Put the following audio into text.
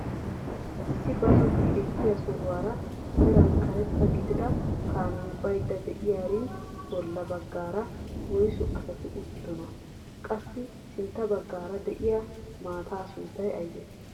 Issi bazzoti ekkiyaa sohuwaara meran karetta gidida kaamiyaa bayda de'iyaarin bolla baggaara woysu asati uttidonaa? Qassi sintta baggaara de'iyaa maataa sunttay aybee?